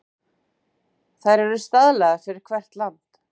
Þær eru staðlaðar fyrir hvert land.